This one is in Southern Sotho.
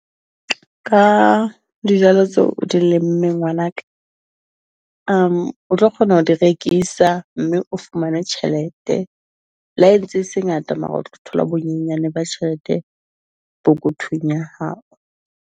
Ka dijalo tseo o di lemmeng, ngwanaka. , o tlo kgona ho di rekisa mme o fumane tjhelete. Le ha entse e se ngata, mara o tlo thola bonyenyane ba tjhelete pokothong ya hao.